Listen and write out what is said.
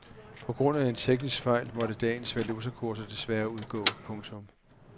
På grund af en teknisk fejl må dagens valutakurser desværre udgå. punktum